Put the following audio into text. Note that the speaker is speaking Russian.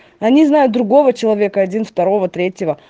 они знают другого человека один второго третьего